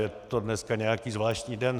Je to dneska nějaký zvláštní den.